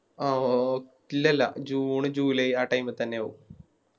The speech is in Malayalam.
ആവോ ഇല്ലല്ലാ June july ആ Time തന്നെയാവും